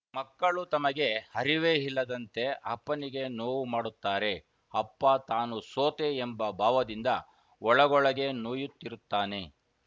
ಮಕ್ಕಳು ತಮಗೆ ಹರಿವೇ ಇಲ್ಲದಂತೆ ಅಪ್ಪನಿಗೆ ನೋವು ಮಾಡುತ್ತಾರೆ ಅಪ್ಪ ತಾನು ಸೋತೆ ಎಂಬ ಭಾವದಿಂದ ಒಳಗೊಳಗೇ ನೋಯುತ್ತಿರುತ್ತಾನೆ